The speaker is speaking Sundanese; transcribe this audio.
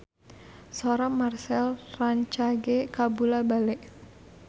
Sora Marchell rancage kabula-bale